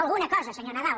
alguna cosa senyor nadal